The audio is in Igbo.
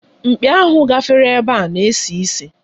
Mkpị ahụ gafere ebe a na-esi isi.